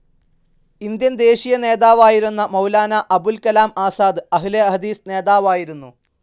Indian ദേശീയ നേതാവായിരുന്ന മൗലാനാ അബുൽ കലാം ആസാദ് അഹ്‌ലെ ഹദീസ് നേതാവായിരുന്നു.